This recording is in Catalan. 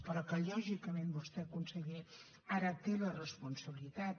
però que lògicament vostè conseller ara té la responsabilitat